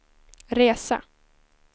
resa